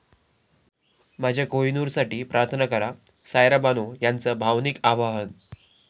माझ्या कोहिनूरसाठी प्रार्थना करा, सायरा बानो यांचं भावनिक आवाहन